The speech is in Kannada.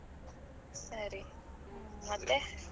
ಸರಿ, ಮತ್ತೆ?